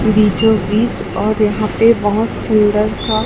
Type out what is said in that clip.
बीचो बीच और यहाँ पे बहोत सुंदर सा--